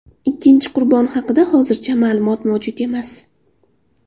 Ikkinchi qurbon haqida hozircha ma’lumot mavjud emas.